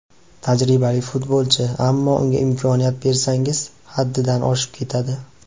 Tajribali futbolchi, ammo unga imkoniyat bersangiz, haddidan oshib ketadi.